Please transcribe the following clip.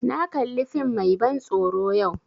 Na kali fim mai ban tsoro yau